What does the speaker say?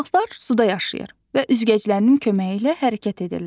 Balıqlar suda yaşayır və üzgəclərinin köməyi ilə hərəkət edirlər.